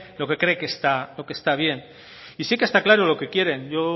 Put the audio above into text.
lo que cree que está bien y sí que está claro lo que quieren yo